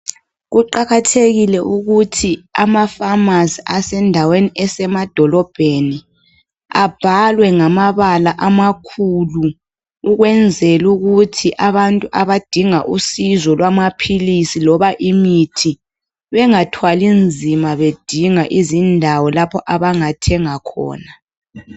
Kuqakathekile ukuthi amafamasi asendaweni esemadolobheni abhalwe ngamabala amakhulu ukwenzela ukuthi abantu abadinga usizo lwamaphilisi loba imithi bengathwali nzima bedinga izindawo lapho abangathenga khona.